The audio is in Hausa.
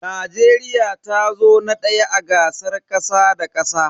Najeriya tazo na daya a gasar kasa da kasa.